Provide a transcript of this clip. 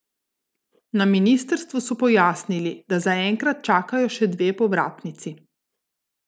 Na ministrstvu so pojasnili, da zaenkrat čakajo še dve povratnici.